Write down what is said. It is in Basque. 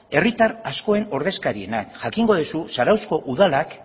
herritar askoren ordezkarienak jakingo dezu zarauzko udalak